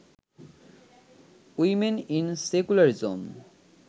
women in secularism